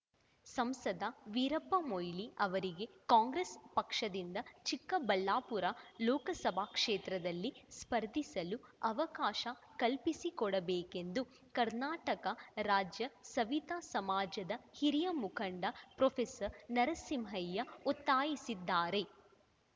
ಸಂಸದ ವೀರಪ್ಪಮೊಯಿಲಿ ಅವರಿಗೆ ಕಾಂಗ್ರೆಸ್ ಪಕ್ಷದಿಂದ ಚಿಕ್ಕಬಳ್ಳಾಪುರ ಲೋಕಸಭಾ ಕ್ಷೇತ್ರದಲ್ಲಿ ಸ್ಪರ್ಧಿಸಲು ಅವಕಾಶ ಕಲ್ಪಿಸಿಕೊಡಬೇಕೆಂದು ಕರ್ನಾಟಕ ರಾಜ್ಯ ಸವಿತ ಸಮಾಜದ ಹಿರಿಯ ಮುಖಂಡ ಪ್ರೊಫೆಸರ್ ನರಸಿಂಹಯ್ಯ ಒತ್ತಾಯಿಸಿದ್ದಾರೆ